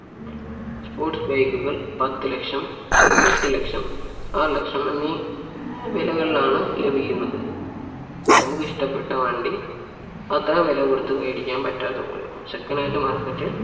sports bike കൾ പത്തുലക്ഷം എട്ടുലക്ഷം ആറു ലക്ഷം എന്നീ വിലകളിലാണ് ലഭിക്കുന്നത് നമുക്ക് ഇഷ്ട്ടപ്പെട്ട വണ്ടി അത്തരം വില കൊടുത്ത് വേടിക്കാൻ പറ്റാത്തത് കൊണ്ടും second hand market ൽ